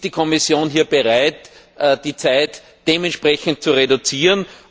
Ist die Kommission hier bereit, die Zeit dementsprechend zu reduzieren?